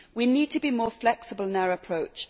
We need to be more flexible in our approach.